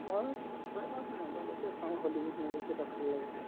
মই আৰু mobile তে চাওঁ hollywood movies কেইটা ভাল লাগে